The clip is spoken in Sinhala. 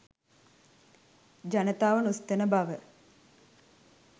ජනතාව නොසිතන බව